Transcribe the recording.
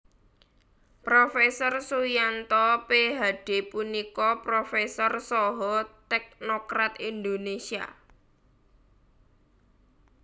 Prof Suyanto Ph D punika profésor saha tèknokrat Indonésia